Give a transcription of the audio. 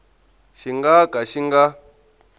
xi nga ka xi nga